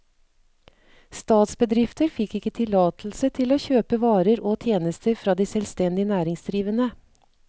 Statsbedrifter fikk ikke tillatelse til å kjøpe varer og tjenester fra de selvstendig næringsdrivende.